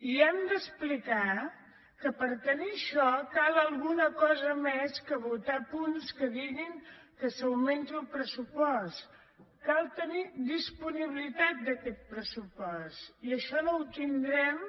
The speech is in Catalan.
i hem d’explicar que per tenir això cal alguna cosa més que votar punts que diguin que s’augmenti el pressupost cal tenir disponibilitat d’aquest pressupost i això no ho tindrem